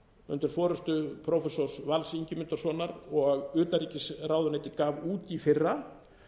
undir forustu prófessors vals ingimundarsonar og utanríkisráðuneytið gaf út í fyrra